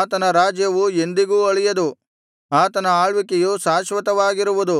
ಆತನ ರಾಜ್ಯವು ಎಂದಿಗೂ ಅಳಿಯದು ಆತನ ಆಳ್ವಿಕೆಯು ಶಾಶ್ವತವಾಗಿರುವುದು